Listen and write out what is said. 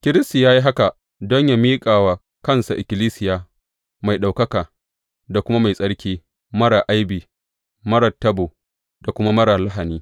Kiristi ya yi haka don yă miƙa wa kansa ikkilisiya mai ɗaukaka da kuma mai tsarki, marar aibi, marar tabo, da kuma marar lahani.